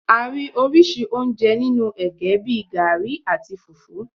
A rí oríṣi oúnjẹ nínú ẹ̀gẹ́ bíi garri, àti fùfú.